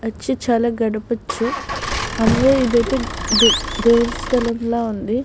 చాల గడపచు ఇదైతే దేవుడి స్థలం లా ఉంది.